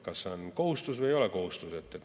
Kas see on kohustus või ei ole kohustus?